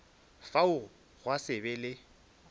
fao gwa se be le